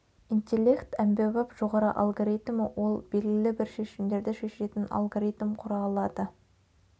интеллект әмбебап жоғары алгоритмі ол белгілі бір шешімдерді шешетін алгоритм құра алады